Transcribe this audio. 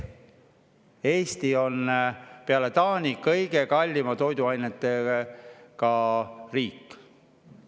Eesti on peale Taani kõige kallimate toiduainetega riik.